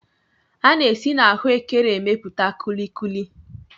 A na-esi n'ahụekere emepụta kulikuli.